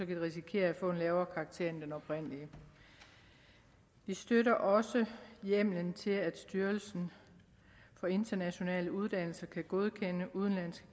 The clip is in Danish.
de risikere at få en lavere karakter end den oprindelige vi støtter også hjemmelen til at styrelsen for international uddannelse kan godkende udenlandske